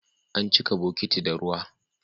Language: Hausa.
An cika bokiti da ruwa.